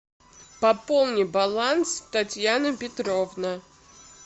пополни баланс татьяна петровна